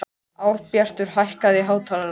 Árbjartur, hækkaðu í hátalaranum.